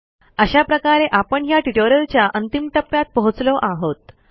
अशा प्रकारे आपण ह्या ट्युटोरियलच्या अंतिम टप्प्यात पोहोचलो आहोत